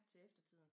Til eftertiden